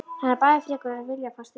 Hann er bæði frekur og viljafastur!